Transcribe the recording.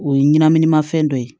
O ye ɲɛnaminimafɛn dɔ ye